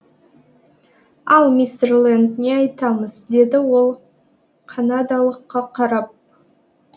ал мистер ленд не айтамыз деді ол канадалыққа қарап